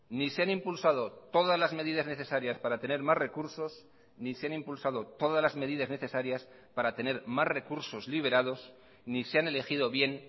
ni se han impulsado todas las medidas necesarias para tener más recursos ni se han impulsado todas las medidas necesarias para tener más recursos liberados ni se han elegido bien